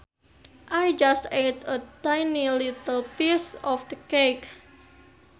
I just ate a tiny little piece of the cake